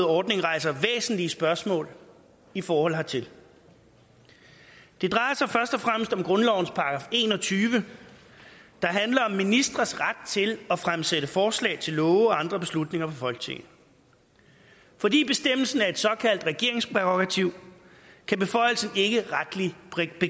ordning rejser væsentlige spørgsmål i forhold hertil det drejer sig først og fremmest om grundlovens § en og tyve der handler om ministres ret til at fremsætte forslag til love og andre beslutninger folketinget fordi bestemmelsen er et såkaldt regeringsprærogativ kan beføjelsen ikke begrænses retligt